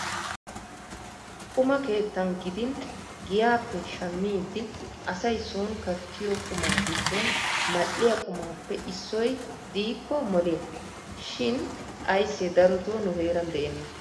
Quma keettan gidin giyappe shammidi asay sooni kattiyo qumaa giddon mal"iya qumaappe issoy diikko moliya. Shin ayssee darotoo nu heeran de'enna.